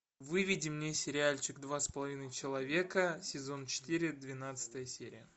выведи мне сериальчик два с половиной человека сезон четыре двенадцатая серия